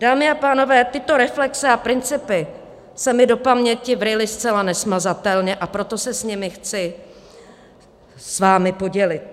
Dámy a pánové, tyto reflexe a principy se mi do paměti vryly zcela nesmazatelně, a proto se o ně chci s vámi podělit.